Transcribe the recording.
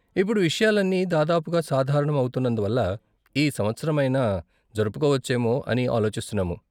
ఇప్పుడు విషయాలన్నీ దాదాపుగా సాధారణం అవుతున్నందువల్ల, ఈ సంవత్సరమైనా జరుపుకోవచ్చేమో అని ఆలోచిస్తున్నాము.